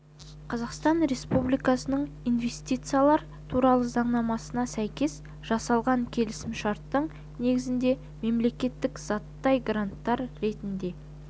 қазақстан республикасының инвестициялар туралы заңнамасына сәйкес жасалған келісімшарттың негізінде мемлекеттік заттай гранттар ретінде